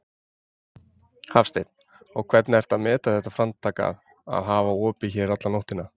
Hafsteinn: Og hvernig ertu að meta þetta framtak að, að hafa opið hérna alla nóttina?